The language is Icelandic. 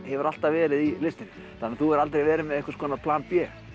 hefur alltaf verið í listinni þannig að þú hefur aldrei verið með plan b